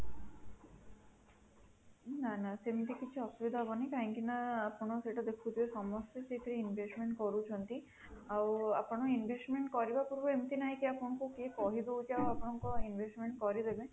ନାଁ ନାଁ ସେମିତି କିଛି ଅସୁବିଧା ହବନି କାହିଁକି ନା ଆପଣ ସେଇଟା ଦେଖୁଥିବେ ସମସ୍ତେ ସେଥିରେ investment କରୁଛନ୍ତି ଆଉ ଆପଣ investment କରିବା ପୂର୍ବରୁ ଏମିତି ନାହିଁ କି କିଏ ଆପଣଙ୍କୁ କହିବ ହଉଚି ଆପଣଙ୍କର investment କରିଦେବେ